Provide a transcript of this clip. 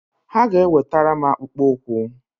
Ha ga-ewetara m akpụkpọ ukwu